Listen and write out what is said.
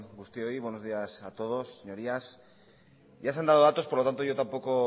guztioi buenos días a todos señorías ya se han dado datos por lo tanto yo tampoco